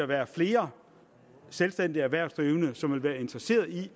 være flere selvstændige erhvervsdrivende som vil være interesseret i